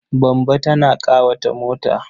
Bamba tana ƙawata mota.